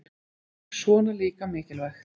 Svona líka mikilvægt